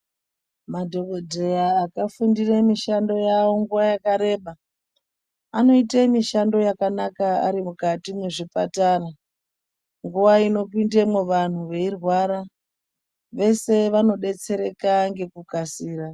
Madhokodheya akafundire mishando yavo nguwa yakareba, anoite mishando yakanaka ari mukati mezvipathara. Nguva inopindemwo vantu veirwara, vese vanodetsereka ngekukasira.